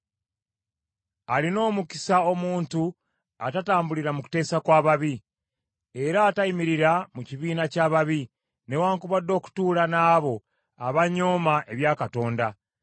Alina omukisa omuntu atatambulira mu kuteesa kw’ababi, era atayimirira mu kibiina ky’ababi, newaakubadde okutuula n’abo abanyooma ebya Katonda.